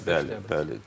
Bəli, bəli.